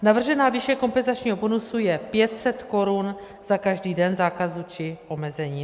Navržená výše kompenzačního bonusu je 500 korun za každý den zákazu či omezení.